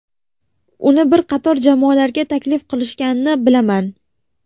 Uni bir qator jamoalarga taklif qilishganini bilaman.